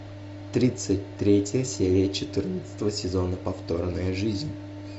тридцать третья серия четырнадцатого сезона повторная жизнь